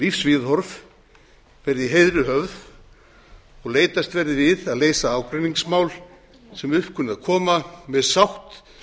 heiðri höfð og leitast verði við að leysa ágreiningsmál sem upp kunna að koma með sátt